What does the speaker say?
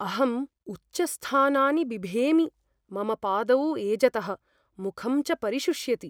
अहम् उच्चस्थानानि बिभेमि, मम पादौ एजतः, मुखं च परिशुष्यति।